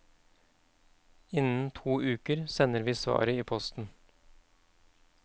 Innen to uker sender vi svaret i posten.